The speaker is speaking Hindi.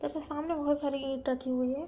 ऐसे सामने बोहोत सारी ईंट रखी हुई है।